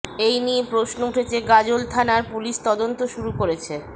এই নিয়ে প্রশ্ন উঠছে গাজল থানার পুলিশ তদন্ত শুরু করেছে